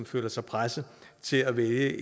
føler sig presset til at vælge